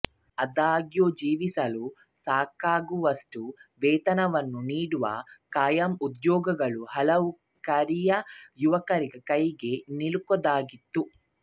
ಆದಾಗ್ಯೂ ಜೀವಿಸಲು ಸಾಕಾಗುವಷ್ಟು ವೇತನವನ್ನು ನೀಡುವ ಖಾಯಂ ಉದ್ಯೋಗಗಳು ಹಲವು ಕರಿಯ ಯುವಕರ ಕೈಗೆ ನಿಲುಕದಾಗಿತ್ತು